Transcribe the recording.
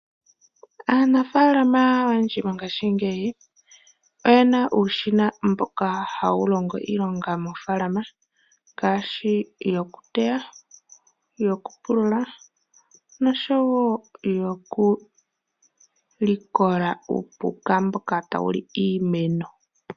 Aanafaalama oyendji mongashingeyi ,oyena uushina mboka ha wu longo iilonga mofaalama ngaashi yoku teya ,yoku pulula nosho woo yoku likola uupuka mboka tawu li iimeno.